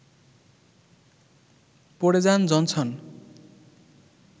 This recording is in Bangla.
পড়ে যান জনসন